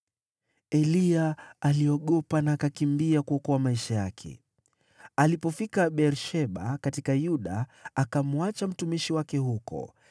Eliya aliogopa, na akakimbia kuokoa maisha yake. Alipofika Beer-Sheba katika Yuda, akamwacha mtumishi wake huko,